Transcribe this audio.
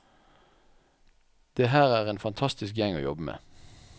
Det her er en fantastisk gjeng å jobbe med.